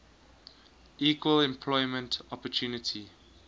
equal employment opportunity